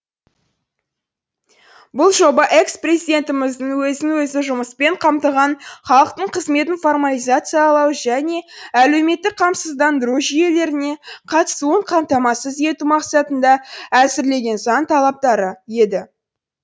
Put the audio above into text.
бұл жоба экс президентіміздің өзін өзі жұмыспен қамтыған халықтың қызметін формализациялау және әлеуметтік қамсыздандыру жүйелеріне қатысуын қамтамасыз ету мақсатында әзірлеген заң талаптары еді